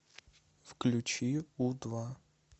включи у два